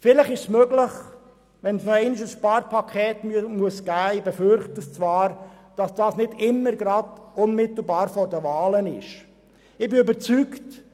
Falls es noch einmal ein Sparpaket geben muss, was ich befürchte, wäre es vielleicht möglich, dieses nicht immer unmittelbar vor den Wahlen anzusetzen?